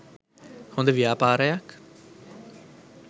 හොද ව්‍යාපාරයක්